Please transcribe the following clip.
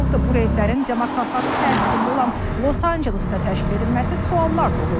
Bu reydlərin demokratların təsirində olan Los-Ancelesdə təşkil edilməsi suallar doğurur.